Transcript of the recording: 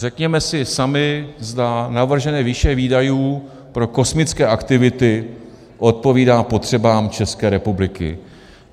Řekněme si sami, zda navržené výše výdajů pro kosmické aktivity odpovídá potřebám České republiky.